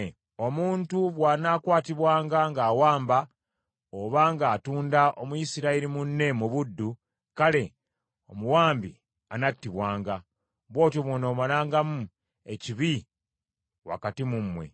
Omuntu bw’anaakwatibwanga ng’awamba, obanga atunda Omuyisirayiri munne mu buddu, kale omuwambi anattibwanga. Bw’otyo bw’onoomalangamu ekibi wakati mu mmwe.